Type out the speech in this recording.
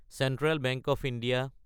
central bank of India